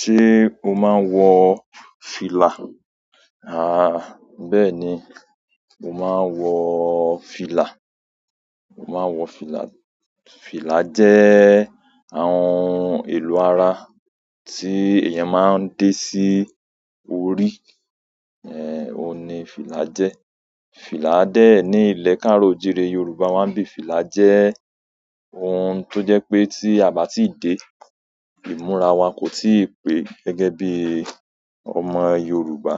Ṣé o máa ń wọ fìlà? À, bẹ́ẹ̀ ni, mo máa ń wọ fìlà. Mo máa ń wọ fìlà. Fìlà jẹ́ àwọn ohun èlò ara tí èèyàn máa ń dé sí orí. Ẹ̀, òun ni fìlà jẹ́. Fìlà dẹ̀ ní ilẹ̀ káàro ìjire Yorùbá máa ń bí i fìlà jẹ́ ohun tó jẹ́ pé tí a bá tíì dé, ìmúra wa kò tíì pé gẹ́gẹ́ bí ọmọ Yorùbá.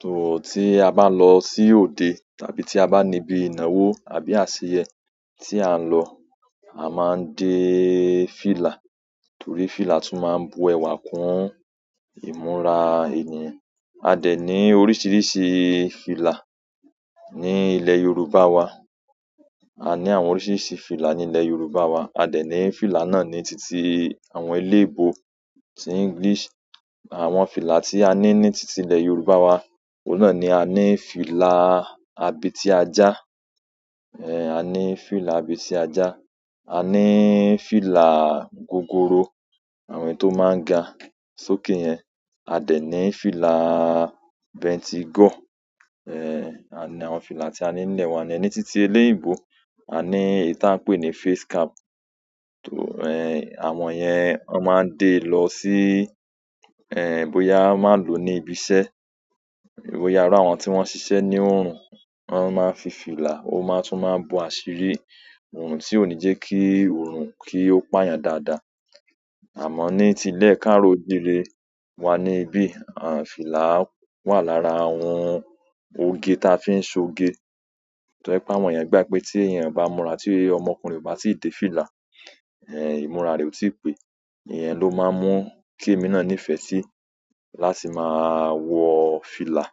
Tò tí a bá lọ sí òde tàbí tí a bá níbi ìnáwó àbí àṣeyẹ tí à ń lọ, a máa ń dé fìlà torí fìlà tún máa ń bu ẹwà kún ìmúra ènìyàn. A dẹ̀ ní oríṣiríṣi fìlà ní ilẹ̀ Yorùbá wa. A ní àwọn oríṣiríṣi fìlà ní ilẹ̀ Yorùbá wa. A dẹ̀ ní fìlà náà ní titi àwọn elébo ti English. Àwọn fìlà tí a ní ní titi ilẹ̀ Yorùbá wa, òun náà ni a ní fìlà abiti ajá. Ẹ̀, a ní fìlà abeti ajá, a ní fìlà gogoro, àwọn èyí tò máa ń ga sókè yẹn. A dẹ̀ ní fìlà bentigo. Ẹ̀, à ní àwọn fìlà tí a ní nílẹ̀ wa. A dẹ ní titi eléyìí bo, a ní ìta pé ní face cap. Tò, ẹ̀, àwọn yẹn wọ́n máa ń dé lọ sí, ẹ, bóyá má lò ní ibi iṣẹ́. Boyà ara àwọn tí wọ́n ṣiṣẹ́ ní ò, wọ́n máa ń fi fìlà ó máa tún máa bu àṣírí òrùn tí ò ní jẹ́ kí òrùn kí ó pà yàn dáadáa. Àmọ́ ní ti ilẹ̀ káàro ìjire wa ni bí i àǹfìlà wà lára àwọn oge ta fi ń so ge. Tò ẹ pá àwọn yẹn gbá pé tí èèyàn bá múra tí ọmọkùnrin bá sì dé fìlà, ẹ, ìmúra rẹ̀ ò tí ì pé. Ìyẹn ló máa ń mú kí èmi náà nífẹ̀ẹ́ sí láti máa wọ fìlà.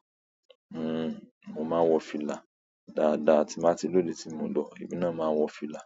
Hmm, mo máa ń wọ fìlà dáadáa tí màá ti lóde tí mo lọ, èmi náà máa ń wọ fìlà.